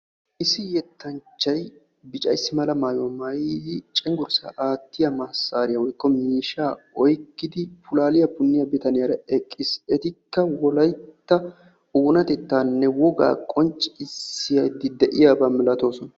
Issi yettanchchay adl'ee ciishsha maayuwaa maayiddi pulaaliya puniya bitaniyara wolaytta wogaa qonccisidde eqqiis.